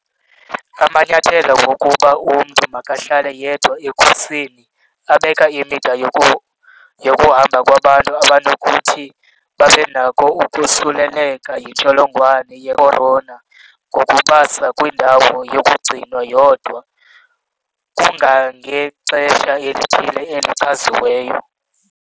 Amanyathelo wokuba umntu makahlale yedwa ekhusini abeka imida yokuhamba kwabantu abanokuthi babe nakho ukosuleleka yintsholongwane yekhorona ngokubasa kwindawo yokugcinwa yodwa kangangexesha elithile elichaziweyo.